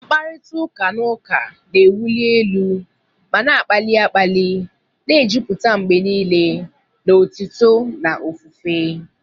Mkparịta ụka na ụka na-ewuli elu ma na-akpali akpali, na-ejupụta mgbe niile na otuto na ofufe.